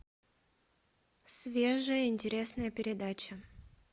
свежая интересная передача